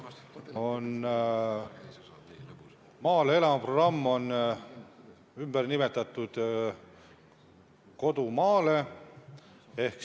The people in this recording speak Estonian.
Programm "Maale elama!" on ümber nimetatud programmiks "Kodu maale!".